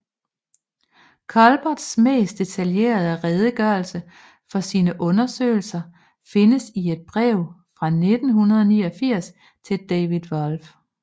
Culberts mest detaljerede redegørelse for sine undersøgelser findes i et brev fra 1989 til David Wolf